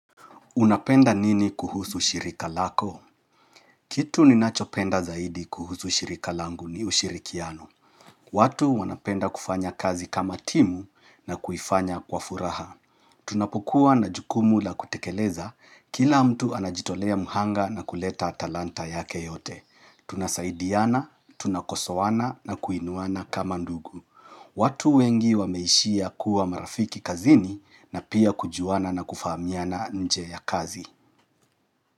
Unapenda nini kuhusu shirika lako? Kitu ninachopenda zaidi kuhusu ushirika langu ni ushirikiano. Watu wanapenda kufanya kazi kama timu na kuifanya kwa furaha. Tunapokuwa na jukumu la kutekeleza, kila mtu anajitolea muhanga na kuleta talanta yake yote. Tunasaidiana, tunakosowana na kuinuana kama ndugu. Watu wengi wameishia kuwa marafiki kazini na pia kujuana na kufahamiana nje ya kazi.